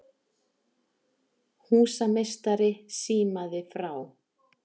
Húsameistari símaði frá